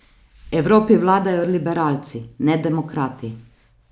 Evropi vladajo liberalci, ne demokrati.